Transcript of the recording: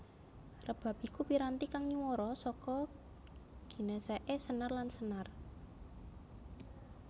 Rebab iku piranti kang nyuwara saka ginèsèké senar lan senar